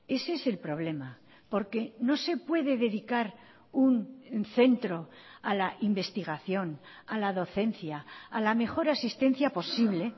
ese es el problema porque no se puede dedicar un centro a la investigación a la docencia a la mejor asistencia posible